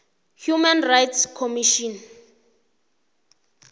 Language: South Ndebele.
human rights commission